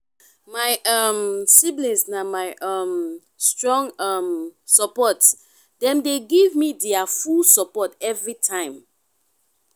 my um siblings na my um strong um support dem dey give me their full support everytime.